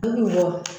Dɔ bɛ bɔ